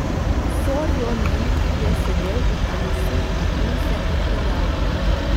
Sorjonen je sedel v taksi in se odpeljal.